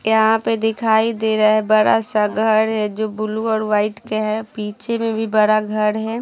यहाँ पे दिखाई दे रहा है बड़ा सा घर है जो ब्लू और वाइट के है पीछे में भी बड़ा घर है ।।